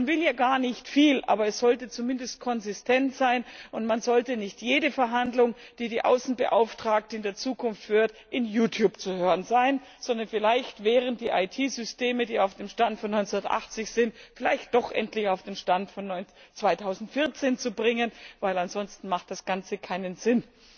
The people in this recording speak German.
Man will ja gar nicht viel, aber es sollte zumindest konsistent sein, und es sollte nicht jede Verhandlung, die die Außenbeauftragte in der Zukunft führt, in YouTube zu hören sein, sondern vielleicht wären die IT Systeme, die auf dem Stand von 1980 sind, vielleicht doch endlich auf den Stand von 2014 zu bringen, denn ansonsten macht das Ganze keinen Sinn.